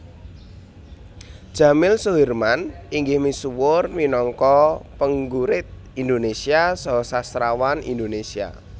Djamil Soeherman inggih misuwur minangka penggurit Indonesia saha sastrawan Indonesia